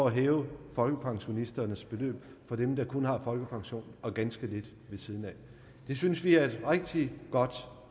at hæve folkepensionisternes beløb for dem der kun har folkepensionen og ganske lidt ved siden af det synes vi er et rigtig godt